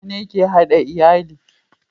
mutane ke hada iyali